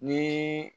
Ni